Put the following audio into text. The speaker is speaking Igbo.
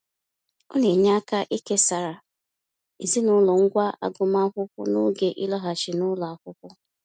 Ọ na-enye aka ikesara ezinaụlọ ngwá agụmaakwụkwọ n'oge ịlaghachi n'ụlọ akwụkwọ.